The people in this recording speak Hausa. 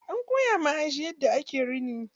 An koya ma Aisha yadda ake rini.